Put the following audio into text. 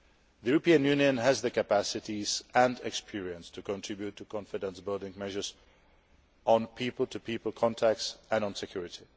The European Union has the capacities and experience to contribute to confidence building measures on people to people contacts and on security.